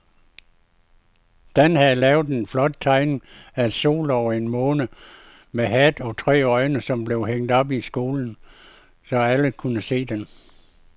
Dan havde lavet en flot tegning af en sol og en måne med hat og tre øjne, som blev hængt op i skolen, så alle kunne se den.